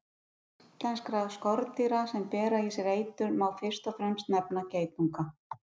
Meðal íslenskra skordýra sem bera í sér eitur má fyrst og fremst nefna geitunga.